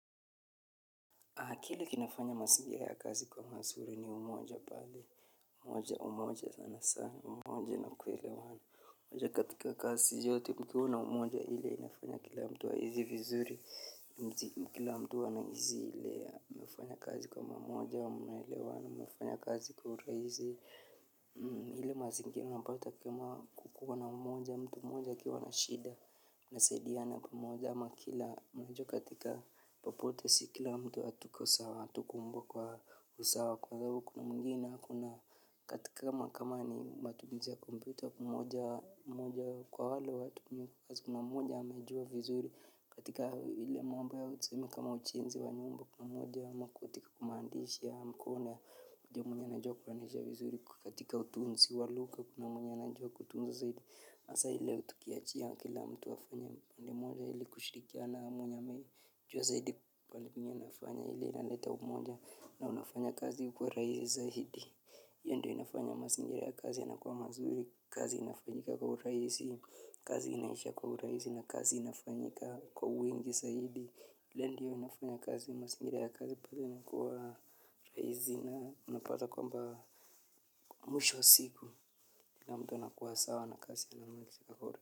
Kile kinafanya masingira ya kazi kuwa masuri ni umoja pale umoja, umoja sana sana, umoja na kuelewana. Umoja katika kazi yote kukiwa na umoja hile inafanya kila mtu ahizi vizuri, kila mtu wanahizi hile nimefanya kazi kwa pamoja wa mnaelewana, mnafanya kazi kwa urahizi. Ile mazingira unapao utakua kukua na mmoja mtu mmoja akiwa na shida. Nasaidiana pamoja ama kila mmoja katika popote si kila mtu atukosawa. Atukumbukwa usawa kwa zababu kuna mwingine kuna katika kama kama ni matumizi ya computer mmoja mmoja kwa wale watu mmoja amejua vizuri. Katika ile mambo ya tuseme kama ujenzi wa nyumba pamoja ama katika kumaandishi ya mkono, una mwenyewe anajua kuwanisha vizuri katika utunzi wa luga kuna mwenye anajua kutunza zaidi. Hasa hile tukiachia kila mtu wafanye pande moja hili kushirikiana na mwenye anajua zaidi pali penye unafanya hili inaleta umoja na unafanya kazi kuwa raizi zaidi. Yo ndo inafanya masingira ya kazi yanakowa mazuri, kazi inafanyika kwa uraisi, kazi inaisha kwa uraisi na kazi inafanyika kwa wingi zaidi. Hio ndio inafanya kazi masingira ya kazi paka inakuwa raisi na unapata kwamba mwisho wa siku. Kila mtu anakuwa sawa na kazi ya la mwisho kuwabora.